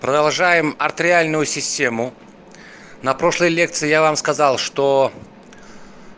продолжаем артериальную систему на прошлой лекции я вам сказал что